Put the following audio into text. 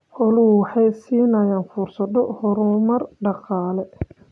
Xooluhu waxay siinayaan fursado horumar dhaqaale.